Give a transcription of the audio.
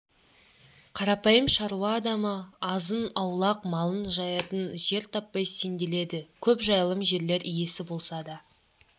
қарапайым шаруа адамы азын-аулақ малын жаятын жер таппай сенделеді көп жайылым жерлер иесі болса да